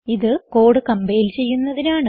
ഇത് code compile ചെയ്യുന്നതിനാണ്